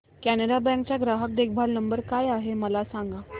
Canara bank चा ग्राहक देखभाल नंबर काय आहे मला सांगा